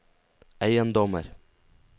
eiendommer